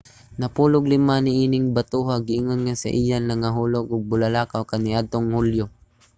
napulog-lima niining batoha giingon nga iya sa nangahulog nga bulalakaw kaniadtong hulyo